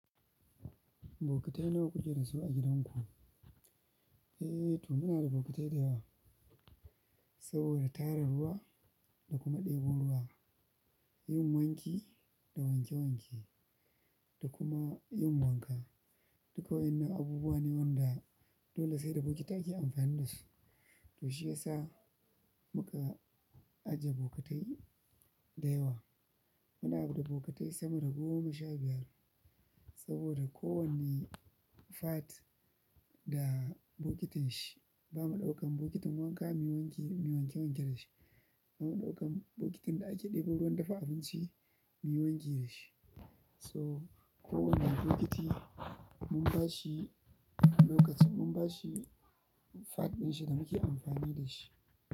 Bokatai nawa kuke da su a gidanku? Eh, to muna da bokatai da yawa saboda tara ruwa da kuma ɗebo ruwa, yin wanki da wanke wanke da kuma yin wanka. Duka waɗannan abubuwa ne waɗanda dole sai da bokitai ake amfani da su. To shiyasa muka ajiye bokatai da yawa. Muna da bokatai sama da goma sha biyar saboda kowane fat da bokitin shi. Ba ma ɗaukan bokitin wanka, muyi wanki, muyi wanke wanke da shi. Ba ma ɗaukan bokitin da ake ɗebo ruwan dafa abinci muyi wanki da shi. So kowane bokiti mun bashi lokacin, mun bashi fat ɗin shi da muke amfani da shi.